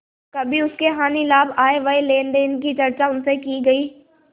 कभी उसके हानिलाभ आयव्यय लेनदेन की चर्चा उनसे की गयी